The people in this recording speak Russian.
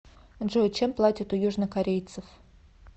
джой чем платят у южнокорейцев